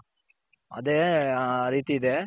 ಅದೇ ಆ ರೀತಿ ಇದೆ